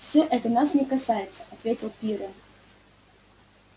все это нас не касается ответил пиренн